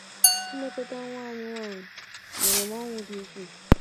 Ilekọta nwa anyị nwanyị nyere m ọṅụ dị ukwuu.